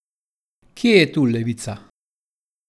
Kje je tu levica?